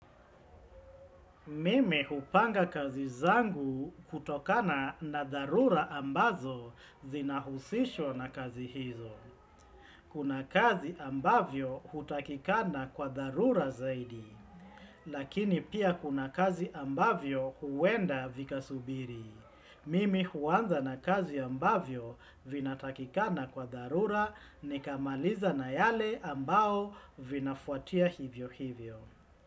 Mimi hupanga kazi zangu kutokana na dharura ambazo zina husishwa na kazi hizo. Kuna kazi ambavyo hutakikana kwa tharura zaidi. Lakini pia kuna kazi ambavyo huwenda vika subiri. Mimi huanza na kazi ambavyo vina takikana kwa dharura nikamaliza na yale ambao vinafuatia hivyo hivyo.